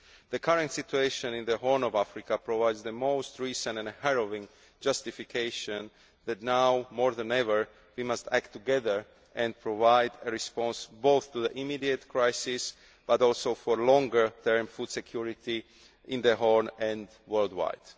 The current situation in the Horn of Africa provides the most recent and harrowing justification that now, more than ever, we must act together and provide a response both to the immediate crisis and to longer term food security in the Horn and worldwide.